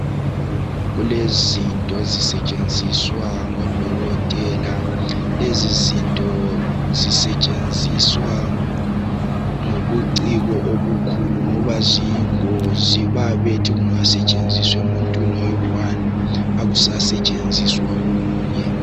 Kulezinto ezisetshenziswa ngodokotela .Lezi zinto zisetshenziswa ngobuciko obukhulu ngoba ziyingozi, babethi zingasetshenziswa emuntwini oyedwa akusasetshenziswa komunye.